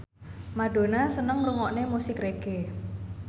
Madonna seneng ngrungokne musik reggae